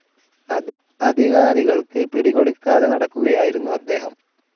അധികാരികൾക്ക്‌ പിടികൊടുക്കാതെ നടക്കുകയായിരുന്നു അദ്ദേഹം.